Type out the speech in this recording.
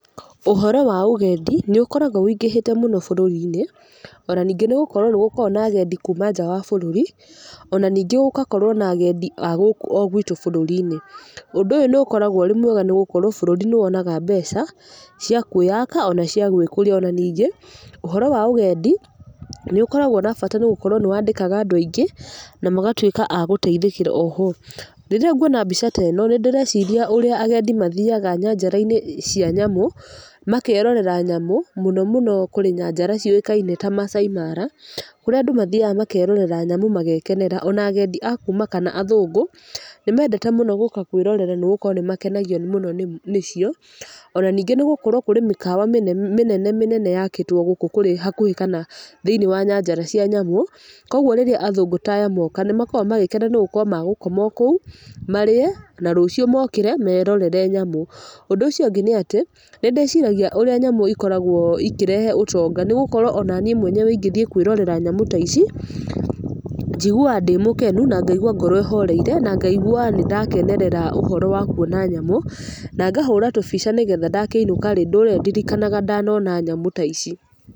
Ũhoro wa ũgendi nĩ ũkoragwo wĩingĩhĩte mũno bũrũri-inĩ, ona ningĩ nĩ gũkorwo nĩ gũkoragwo na agendi kuuma nja wa bũrũri, ona ningĩ gũkakorwo na agendi a gũkũ o gwitũ bũrũri-inĩ. Ũndũ ũyũ nĩ ũkoragwo ũrĩ mwega nĩ gũkorwo bũrũri nĩ wonaga mbeca cia kwĩyaka ona cia gwĩkũria. Ona ningĩ ũhoro wa ũgendi nĩ ũkoragwo na bata nĩ gũkorwo nĩ wandĩkaga andũ aingĩ na magatuĩka agũteithĩkĩra oho. Rĩrĩa nguona mbica ta ĩno, nĩ ndĩreciria ũrĩa agendi mathiaga nyanjara-inĩ cia nyamũ, makerorera nyamũ, mũno mũno kũrĩ nyanjara ciũĩkaine ta Maasai Mara, kũrĩa andũ mathiaga makerore nyamũ magekenera. Ona agendi a kuuma kana athũngũ, nĩ mendete mũno gũũka kwĩrorera nĩ gũkorwo nĩ makenagio mũno nĩ cio. Ona ningĩ nĩ gũkorwo nĩ kũrĩ mĩkawa mĩnene mĩnene yakĩĩtwo gũkũ hakũhĩ kana thĩiniĩ wa nyanjara cia nyamũ, kũguo rĩrĩa athũngũ ta aya moka nĩ makoragwo magĩkena nĩ gũkorwo magũkoma o kũu, marĩe na rũciũ mokĩre merorere nyamũ. Ũndũ ũci ũngĩ nĩ atĩ, nĩ ndĩciragia ũrĩa nyamũ ikoragwo ikĩrehe ũtonga nĩ gũkorwo ona niĩ mwene ingĩthiĩ kwĩrorera nyamũ ta ici, njiguaga ndĩ mũkenu na ngaigua ngoro ĩhoreire na ngaigwa nĩ ndakenerera ũhoro wa kuona nyamũ, na ngahũra tũbica nĩ getha ndakĩinũka-rĩ ndũre ndirikanaga ndanona nyamũ ta ici.